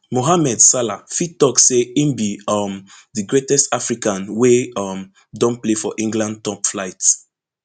mohamed salah fit tok say im be um di greatest african wey um don play for england top flight